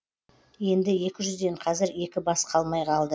енді екі жүзден қазір екі бас қалмай қалды